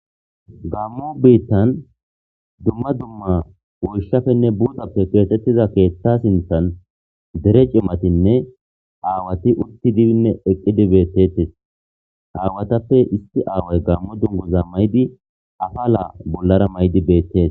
Gamo bitan dumma dumma woyishappenne burappe kexetida keeththa sinthan dere cimatinne aawati utidinne eqidi betetes aawatappe issi aawayi gamo duniguza mayidi afala bolara atidi betes.